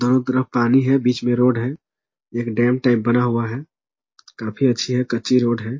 चारों तरफ पानी है बीच में रोड है एक डेम टाइप बना हुआ है काफी अच्छी है कच्ची रोड है।